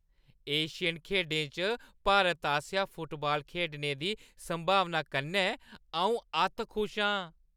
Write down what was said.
Asian खेढें च भारत आसेआ फुटबाल खेढने दी संभावना कन्नै अऊं अत्त खुश आं ।